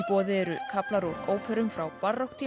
boði eru kaflar úr óperum frá